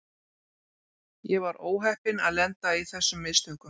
Ég var óheppinn að lenda í þessum mistökum.